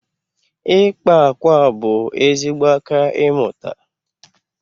ịkpa akwa bụ ezigbo aka ịmụta